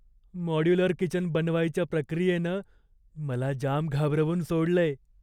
Modular kitchen बनवायच्या प्रक्रियेनं मला जाम घाबरवून सोडलंय.